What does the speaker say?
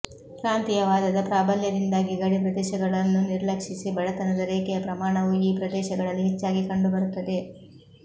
ಪ್ರಾಂತೀಯವಾದದ ಪ್ರಾಬಲ್ಯದಿಂದಾಗಿ ಗಡಿಪ್ರದೇಶಗಳನ್ನು ನಿರ್ಲಕ್ಷಿಸಿ ಬಡತನದ ರೇಖೆಯ ಪ್ರಮಾಣವು ಈ ಪ್ರದೇಶಗಳಲ್ಲಿ ಹೆಚ್ಚಾಗಿ ಕಂಡುಬರುತ್ತದೆ